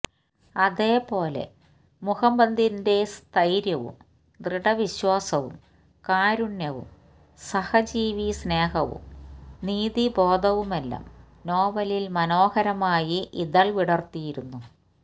അതേപോലെ മുഹമ്മദിന്റെ സ്ഥൈര്യവും ദൃഢവിശ്വാസവും കാരുണ്യവും സഹജീവിസ്നേഹവും നീതിബോധവുമെല്ലാം നോവലിൽ മനോഹരമായി ഇതൾ വിടർത്തുന്നു